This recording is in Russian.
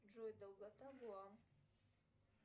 джой долгота вуа